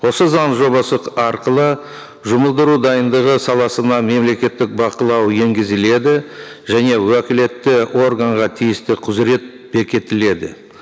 осы заң жобасы арқылы жұмылдыру дайындығы саласына мемлекеттік бақылау енгізіледі және уәкілетті органға тиісті құзырет бекітіледі